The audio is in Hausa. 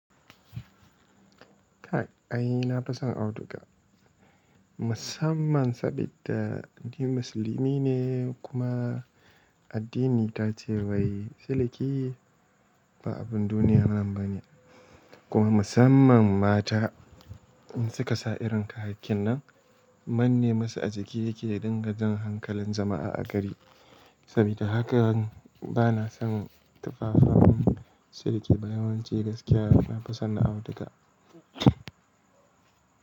Kai ai na fi son auduga musamman saboda ni musulmi ne kuma addini ta ce wai siliki ba abun duniya nan bane kuma musamman mata in suka sa irin kayayyakin nan manne masu a jiki yake ya dinga jan hankalin jama'a a gari sabida haka bana son tufafan siliki ba yawanci gaskiya na fi son na auduga.